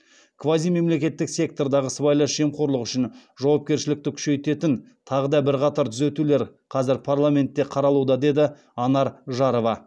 квазимемлекеттік сектордағы сыбайлас жемқорлық үшін жауапкершілікті күшейтетін тағы да бірқатар түзетулер қазір парламентте қаралуда деді анар жарова